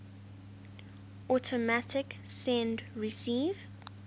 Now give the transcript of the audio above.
automatic send receive